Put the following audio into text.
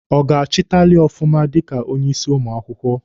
Ọ ga-achịtali ọfụma dika onye isi ụmụ akwụkwọ?